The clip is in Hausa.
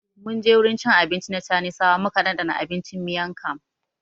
Mun je wurin cin abinci na chanisawa muka dandana abincin Miang Kham